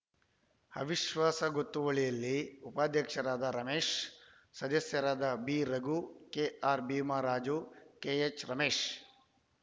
ಅವಿಶ್ವಾಸ ಗೊತ್ತುವಳಿಯಲ್ಲಿ ಉಪಾಧ್ಯಕ್ಷರಾದ ರಮೇಶ್ ಸದಸ್ಯರಾದ B Raghu KR Bhimaraju KH Ramesh